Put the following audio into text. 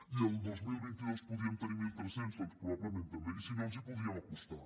i el dos mil vint dos en podríem tenir mil tres cents doncs probablement també i si no ens hi podríem acostar